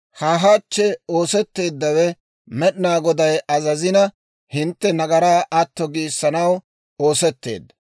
Ha hachchi oosetteeddawe Med'inaa Goday azazina, hintte nagaraa atto giissanaw oosetteedda.